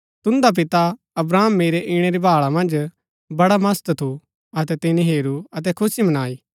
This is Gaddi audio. तून्दा पिता अब्राहम मेरै ईणै री भाळा मन्ज बड्डा मस्त थू अतै तिनी हेरू अतै खुशी मनाई